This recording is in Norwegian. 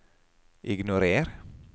ignorer